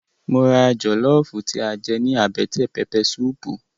Mo ra jọlọfu tí a jẹ ní àbẹ́tẹ̀ pẹpẹ suupu